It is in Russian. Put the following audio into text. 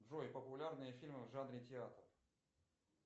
джой популярные фильмы в жанре театр